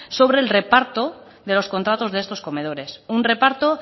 sobre el reparto de los contratos de estos comedores un reparto